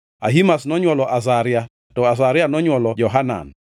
Ahimaz nonywolo Azaria, to Azaria nonywolo Johanan,